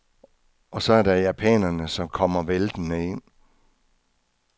Og så er der japanerne som kommer væltende ind.